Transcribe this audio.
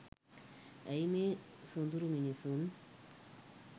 ඇයි මේ සොඳුරු මිනිසුන්